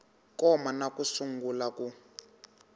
koma na ku sungula ku